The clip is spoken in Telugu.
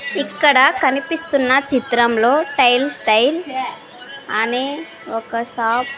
ఇక్కడ కనిపిస్తున్న చిత్రంలో టైల్స్ స్టైల్ అనే ఒక షాప్ --